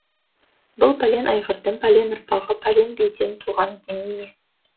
бұл пәлен айғырдың пәлен ұрпағы пәлен биден туған демей ме